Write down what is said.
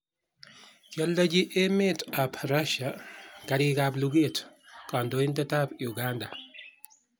kioldochi emet ab russia karik ab luget kandoindet ab uganda